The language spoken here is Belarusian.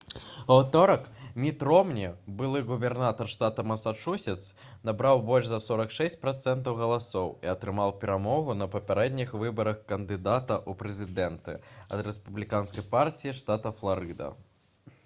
у аўторак міт ромні былы губернатар штата масачусетс набраў больш за 46 працэнтаў галасоў і атрымаў перамогу на папярэдніх выбарах кандыдата ў прэзідэнты ад рэспубліканскай партыі штата фларыда